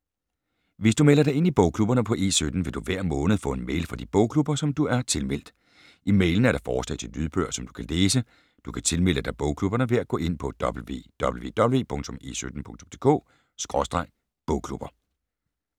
Hvis du melder dig ind i bogklubberne på E17, vil du hver måned få en mail fra de bogklubber, som du er tilmeldt. I mailen er der forslag til lydbøger, som du kan læse. Du kan tilmelde dig bogklubberne ved at gå ind på www.e17.dk/bogklubber